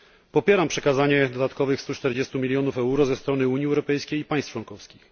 Popieram przekazanie dodatkowych 140 milionów euro ze strony Unii Europejskiej i państw członkowskich.